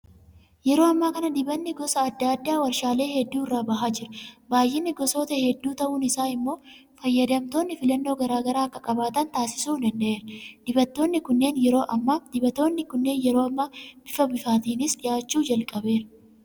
Yeroo ammaa kana dibanni gosa adda addaa warshaalee hedduu irraa bahaa jira. Baay'inni gosootaa hedduu ta'uun isaa immoo fayyadamtoonni filannoo garaa garaa akka qabaatan taasisuu danda'eera. Dibatoonni kunneen yeroo ammaa bifa biiffaatiinis dhiyaachuu jalqabeera.